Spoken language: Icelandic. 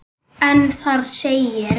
en þar segir